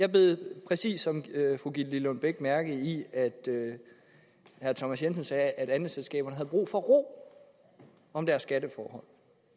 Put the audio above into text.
jeg bed præcis som fru gitte lillelund bech mærke i at herre thomas jensen sagde at andelsselskaberne havde brug for ro om deres skatteforhold